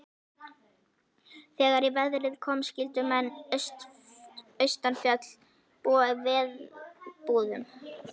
Þegar í verið kom skyldu menn austanfjalls búa í verbúðum.